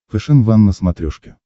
фэшен ван на смотрешке